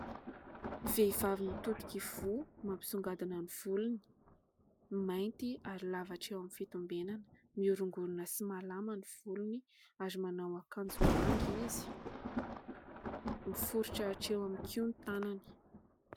Vehivavy mitodika ivoho; mampisongadina ny volony: mainty ary lava hatreo eo amin'ny fitombenana; miorongorina sy malama ny volony ary manao ankanjo manga izy. Miforitra hatreo amin'ny kiho ny tanany.